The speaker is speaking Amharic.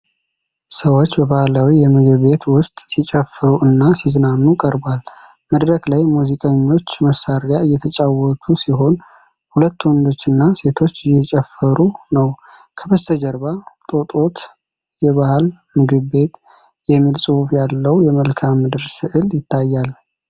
ሰዎች በባህላዊ የምግብ ቤት ውስጥ ሲጨፍሩ እና ሲዝናኑ ቀርቧል። መድረክ ላይ ሙዚቀኞች መሳሪያ እየተጫወቱ ሲሆን ሁለት ወንዶችና ሴቶች እየጨፈሩ ነው። ከበስተጀርባ "ጦጦት የባህል ምግብ ቤት" የሚል ጽሑፍ ያለው የመልክአ ምድር ስዕል ይታያል።